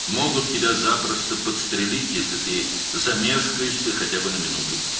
Bir dəqiqə belə tərəddüd etsən, səni asanlıqla vura bilərlər.